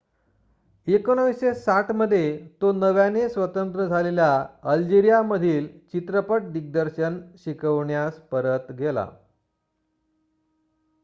1960 मध्ये तो नव्याने स्वतंत्र झालेल्या अल्जेरिया मध्ये चित्रपट दिग्दर्शन शिकवण्यास परत गेला